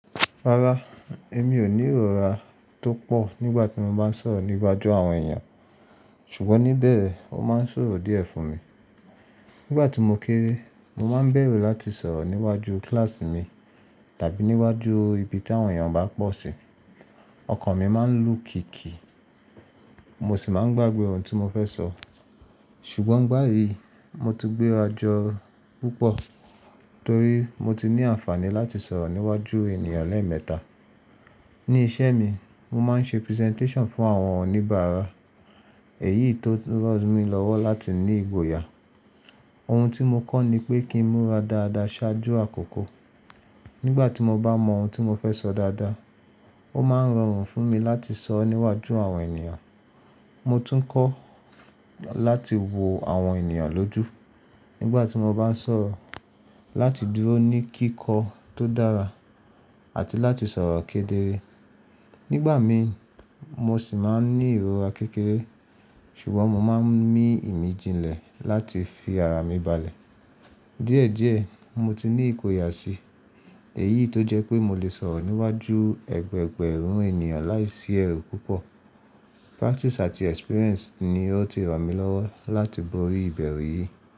Rárá, èmi ò ní ìrọ́ra tó pọ̀ nígbà tí mo bá ń sọ̀rọ̀ níwájú àwọn èèyàn, ṣùgbọ́n níbẹ̀ ó máa ń ṣòro díẹ̀ fún mi. Nígbà tí mo kéré, mo máa ń bẹ̀rù láti sọ̀rọ̀ níwájú kíláàsì mi tàbí níwájú ibi tí àwọn èèyàn bá pọ̀ sí. Ọkàn mi máa ń lù kìkì, mo sì máa ń gbàgbé oro tí mo fẹ́ sọ. Ṣùgbọ́n bàyìí, mo ti gbéra jọ púpọ̀ torí mo ti ní àǹfààní láti sọ̀rọ̀ níwájú ènìyàn lẹ́ẹ̀mẹta. Ní iṣẹ́ mi, mo máa ń ṣe presentation fún àwọn oníbàárà, èyí tun rán mi lọ́wọ́ láti ní ìgboyà. Ohun tí mo kọ́ ni pé kí ń múra dáadáa ṣáájú àkókò. Nígbà tí mo bá mọ ohun tí mo fẹ́ sọ dáadáa, ó máa ń rọrùn fún mi láti sọ níwájú àwọn ènìyàn. Mo tún kọ́ láti wo àwọn ènìyàn lójú nígbà tí mo bá ń sọ̀rọ̀, láti dúró ní kíkọ́ tó dára àti láti sọ̀rọ̀ kedere. Nígbà mí, mo sì máa ń ní ìrọ́ra kékeré, ṣùgbọ́n mo máa ń mí ìmìjìnlẹ̀ láti fi ara mi balẹ̀. Díẹ̀díẹ̀, mo ti ní ìgboyà si, èyí tó jẹ́ pé mo lè sọ̀rọ̀ níwájú ẹgbẹ̀ẹgbẹ̀rún ènìyàn láìsí ẹ̀rù púpọ̀. Practice àti experience ni ó ti ràn mí lọ́wọ́ láti bori ìbẹ̀rù yìí.